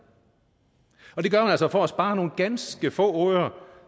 og det gør man altså for at spare nogle ganske få øre